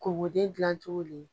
Kokoden gilan cogo le